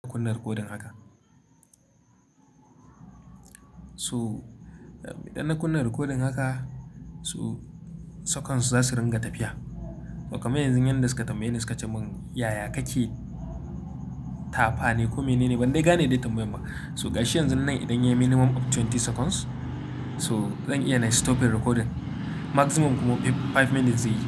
Kunna recording haka, so idan na kunna recording haka so saconds su za su ringa tafiya. Kaman yanzu yan da suka tambaye ni suka ce mun "yaya kake tafa ne ko menene?" Ban dai gane dai tambayan ba. So gashi yanzu nan idan yayi minimum of twenty seconds so zan iya nai stoping the recording. Maximum kuma five minutes zai yi.